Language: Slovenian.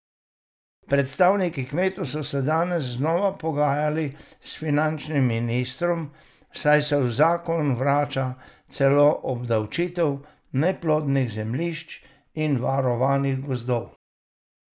Predstavniki kmetov so se danes znova pogajali s finančnim ministrstvom, saj se v zakon vrača celo obdavčitev neplodnih zemljišč in varovanih gozdov.